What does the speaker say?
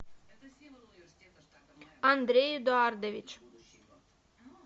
андрей эдуардович